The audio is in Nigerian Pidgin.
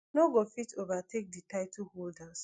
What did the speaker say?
no go fit overtake di title holders